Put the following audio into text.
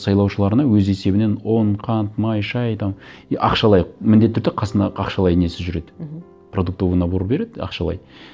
сайлаушыларына өз есебінен ұн қант май шай там и ақшалай міндетті түрде қасына ақшалай несі жүреді мхм продуктовый набор береді ақшалай